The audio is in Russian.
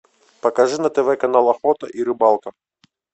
покажи на тв канал охота и рыбалка